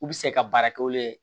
U bɛ se ka baara kɛ olu ye